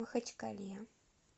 махачкале